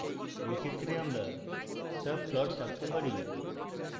in ক্ষেত্রে আমরা subplots আঁকতে পারি